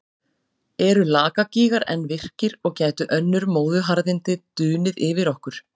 Eru Lakagígar enn virkir og gætu önnur móðuharðindi dunið yfir okkur?